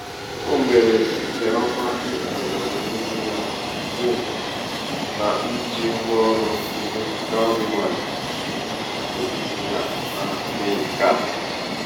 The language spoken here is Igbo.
o mere nke ọma ịhazi ọdịnihu ya site n'ije ngwa ọrụ ndị cowrywise nke ntinye akụ ha mee nke a.